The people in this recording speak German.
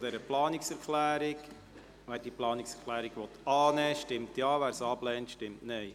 Wer diese Planungserklärung annimmt, stimmt Ja, wer diese ablehnt, stimmt Nein.